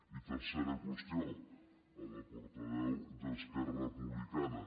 i tercera qüestió a la portaveu d’esquerra republicana